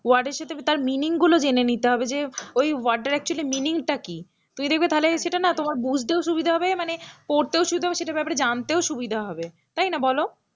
word এর সাথে তার meaning গুলো জেনে নিতে হবে যে ঐ word টার actually meaning টা কি, তুমি দেখবে তাহলে সেটা না তোমার বুঝতেও সুবিধা হবে মানে পড়তেও সুবিধা হবে সেটার ব্যাপারে জানতেও সুবিধা হবে, তাই না বলো?